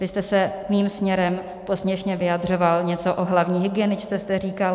Vy jste se mým směrem posměšně vyjadřoval, něco o hlavní hygieničce jste říkal.